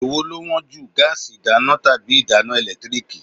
Èwo ló wón jù, gáásì ìdáná tàbí ìdáná ẹ̀lẹ́tíríkì?